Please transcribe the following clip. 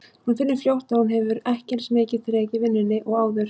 Hún finnur fljótt að hún hefur ekki eins mikið þrek í vinnunni og áður.